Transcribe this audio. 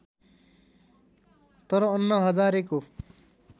तर अन्ना हजारेको